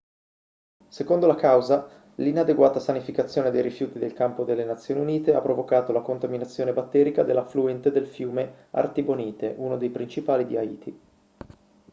secondo la causa l'inadeguata sanificazione dei rifiuti del campo delle nazioni unite ha provocato la contaminazione batterica dell'affluente del fiume artibonite uno dei principali di haiti